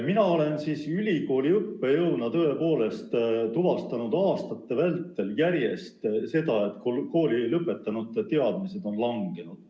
Mina olen ülikooli õppejõuna tõepoolest tuvastanud aastate vältel järjest enam seda, et koolilõpetanute teadmised on langenud.